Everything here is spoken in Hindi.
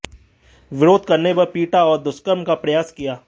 विरोध करने पर पीटा और दुष्कर्म का प्रयास किया